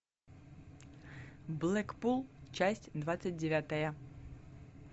блэкпул часть двадцать девятая